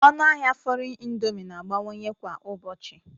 Ọnụ ahịa foriegn indomie na-abawanye kwa ụbọchị